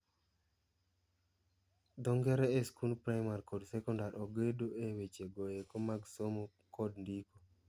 Dho ngere e skund parimar kod sekondar ogedo e weche goeko mag somomkod ndiko.